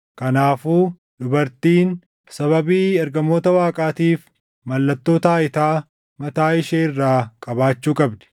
Kanaafuu dubartiin sababii ergamoota Waaqaatiif mallattoo taayitaa mataa ishee irraa qabaachuu qabdi.